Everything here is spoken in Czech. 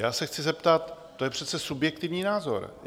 Já si chci zeptat: To je přece subjektivní názor.